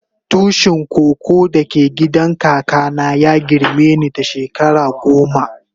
Tushin koko da ke gidan kaka na ya girme ni da shekara goma.